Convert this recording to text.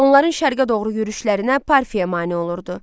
Onların şərqə doğru yürüyüşlərinə Parfiya mane olurdu.